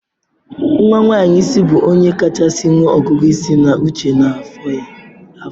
Nwa nwanyị isi bụ onye kachasị nwee ọgụgụ isi na uche n'afọ ya.